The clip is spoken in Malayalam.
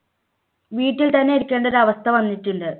വീട്ടിൽ തന്നെ ഇരിക്കേണ്ട ഒരു അവസ്ഥ വന്നിട്ടുണ്ട്.